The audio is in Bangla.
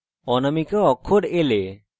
অনামিকা অক্ষর l এ